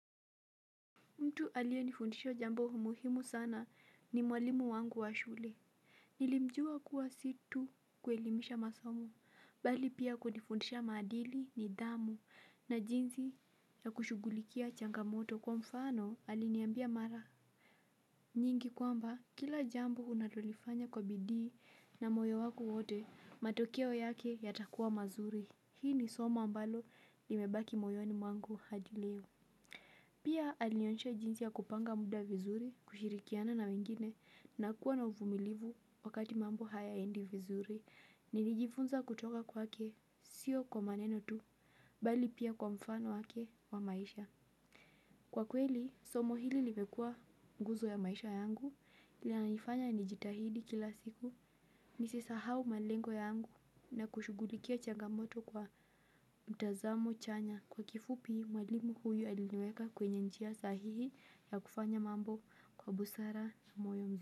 Mtu alienifundisho jambo umuhimu sana ni mwalimu wangu wa shule. Nilimjua kuwa si tu kuelimisha masomo, bali pia kunifundisha madili nidhamu na jinzi ya kushugulikia changamoto kwa mfano aliniambia mara. Nyingi kwamba kila jambo unalolifanya kwa bidii na moyo wako wote, matokeo yake yatakuwa mazuri. Hii ni somo ambalo limebaki moyoni mwangu hadi leo. Pia alionesha jinsi ya kupanga muda vizuri, kushirikiana na wengine, na kuwa na uvumilivu wakati mambo hayaendi vizuri, nilijifunza kutoka kwake siyo kwa maneno tu, bali pia kwa mfano wake wa maisha. Kwa kweli, somo hili limekua nguzo ya maisha yangu, linanifanya nijitahidi kila siku, nisi sahau malengo yangu na kushugulikia changamoto kwa mtazamo chanya kwa kifupi mwalimu huyu aliniweka kwenye njia sahihi ya kufanya mambo kwa busara ya moyo mzuri.